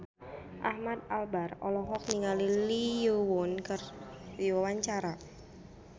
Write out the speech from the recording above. Ahmad Albar olohok ningali Lee Yo Won keur diwawancara